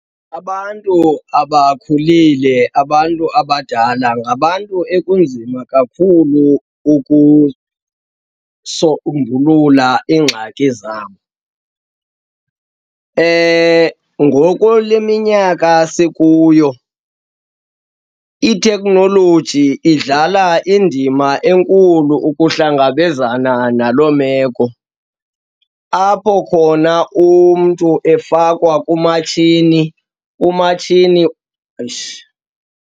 Abantu abakhulile, abantu abadala, ngabantu ekunzima kakhulu ukusombulula iingxaki zabo. Ngoko le minyaka sikuyo ithekhnoloji idlala indima enkulu ukuhlangabezana naloo meko, apho khona umntu efakwa kumatshini, umatshini, eish.